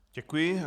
Děkuji.